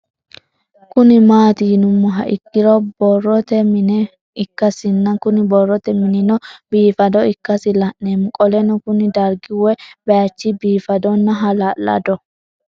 Kuni mati yinumoha ikiro boroote mine ikasina Kuni boroote minino bifado ikasi lan'emo qoleno Kuni dargi woye bayich bifadona hala'lado